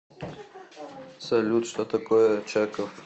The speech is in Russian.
салют что такое очаков